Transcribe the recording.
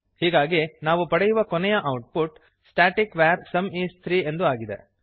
ಹೀಗಾಗಿ ನಾವು ಪಡೆಯುವ ಕೊನೆಯ output static var sum is 3 ಎಂದು ಆಗಿದೆ